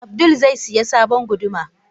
Abdul zai siya sabon guduma.